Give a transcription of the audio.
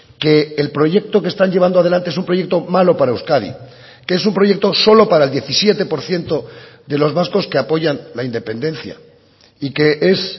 que el proyecto que están llevando adelante es un proyecto malo para euskadi que es un proyecto solo para el diecisiete por ciento de los vascos que apoyan la independencia y que es